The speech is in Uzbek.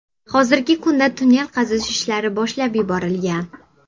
Hozirgi kunda tunnel qazish ishlari boshlab yuborilgan.